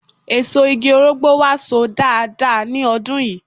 Èso igi Orógbó wa So dáadáa ní ọdún yìí